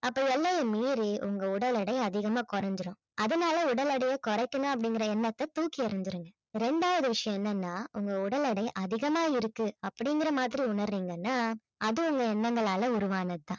அப்ப எல்லையை மீறி உங்க உடல் எடை அதிகமா குறைஞ்சிடும் அதனால உடல் எடைய குறைக்கணும் அப்படிங்கிற எண்ணத்தை தூக்கி எறிஞ்சிடுங்க. இரண்டாவது விஷயம் என்னன்னா உங்க உடல் எடை அதிகமா இருக்கு அப்படிங்கிற மாதிரி உணர்றீங்கன்னா அது உங்க எண்ணங்களால உருவானது தான்